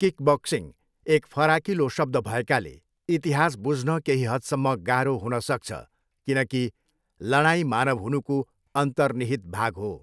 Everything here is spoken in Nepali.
किकबक्सिङ एक फराकिलो शब्द भएकाले, इतिहास बुझ्न केही हदसम्म गाह्रो हुन सक्छ, किनकि लडाइँ मानव हुनुको अन्तर्निहित भाग हो।